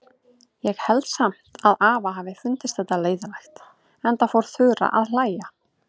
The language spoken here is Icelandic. Ég held samt að afa hafi fundist þetta leiðinlegt, enda fór Þura að hlæja.